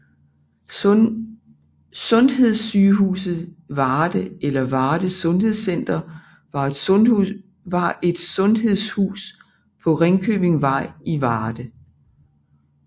Sundhedssygehuset Varde eller Varde Sundhedscenter var et sundhedshus på Ringkøbingvej i Varde